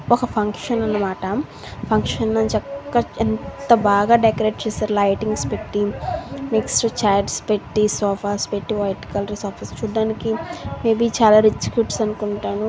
ఒక ఫంక్షన్ అనమాట ఫంక్షన్ లో చక్కగా ఎంత బాగా డెకరేట్ చేసే లైటింగ్ పెట్టి వైట్ కలర్స్ చూడటానికి--